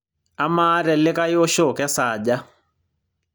amaa telikae osho kesaaja